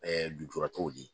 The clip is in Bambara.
lujuratɔw ye